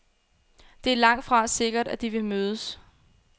Det er langtfra sikkert, at de vil mødes.